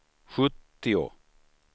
sjuttio